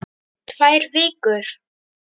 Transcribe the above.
Tvær vikur?